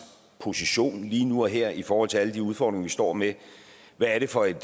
position er lige nu og her i forhold til alle de udfordringer vi står med hvad er det for et